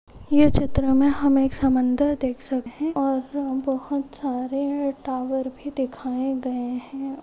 ये चित्र में हम एक समुंदर देख हैं और बहुत सारे टावर भी दिखाए गए हैं।